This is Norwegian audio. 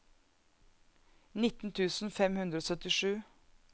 nitten tusen fem hundre og syttisju